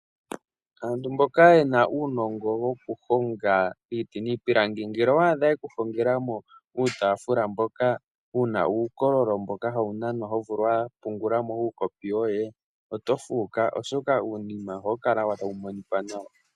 Aantu mboka yena uunongo wokuhonga iiti niipilangi ,ngele owadha yekuhongela mo uutafula mboka wuna uukololo hawu nanwa to vulu okupungulamo uukopi woye. Oto fuuka oshoka ohawu kala tawu monika nawa.